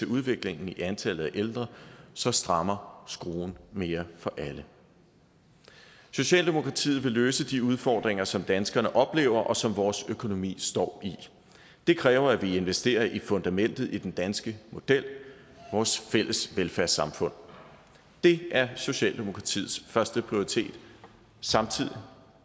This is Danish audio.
udviklingen i antallet af ældre så strammer skruen mere for alle socialdemokratiet vil løse de udfordringer som danskerne oplever og som vores økonomi står i det kræver at vi investerer i fundamentet i den danske model vores fælles velfærdssamfund det er socialdemokratiets førsteprioritet samtidig